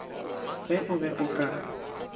ge o be o ka